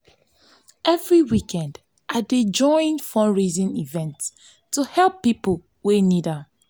every weekend i dey join fundraising events to help people wey need am.